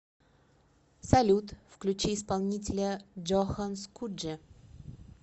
салют включи исполнителя джохан скудже